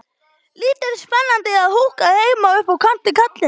Lítið spennandi að húka heima upp á kant við kallinn.